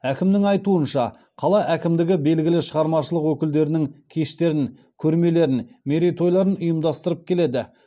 әкімнің айтуынша қала әкімдігі белгілі шығармашылық өкілдерінің кештерін көрмелерін мерейтойларын ұйымдастырып келеді